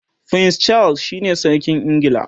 prince Charles shine sarkin ingila